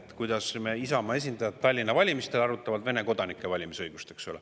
Et miks me, Isamaa esindajad, arutame Tallinna Vene kodanike valimisõigust, eks ole.